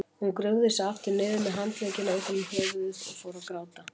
Hún grúfði sig aftur niður með handleggina utan um höfuðið og fór að gráta.